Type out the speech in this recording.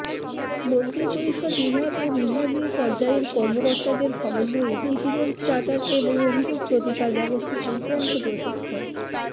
মন্ত্রিপরিষদ বিভাগ ও বিভাগীয় পর্যায়ের কর্মকর্তাদের সমন্বয়ে সিটিজেন্স চার্টার এবং অভিযোগ প্রতিকার ব্যবস্থা সংক্রান্ত প্রশিক্ষণ